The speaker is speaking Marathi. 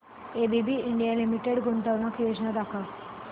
एबीबी इंडिया लिमिटेड गुंतवणूक योजना दाखव